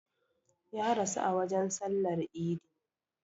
Ya rasu a wajen sallar idi